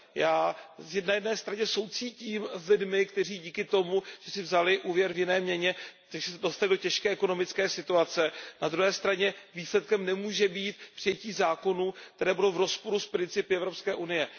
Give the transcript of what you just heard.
Já na jedné straně soucítím s lidmi, kteří se díky tomu, že si vzali úvěr v jiné měně, dostali do těžké ekonomické situace, na druhé straně výsledkem nemůže být přijetí zákonů, které budou v rozporu s principy Evropské unie.